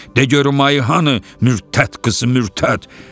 De görüm ayı hanı, mürtəd qızı, mürtəd.